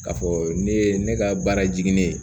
Ka fɔ ne ye ne ka baara jiginnen